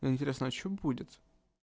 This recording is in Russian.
интересно а что будет